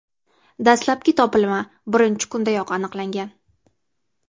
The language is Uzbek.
Dastlabki topilma birinchi kundayoq aniqlangan.